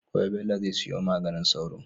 Gobe Bello zai siyo maganin sauro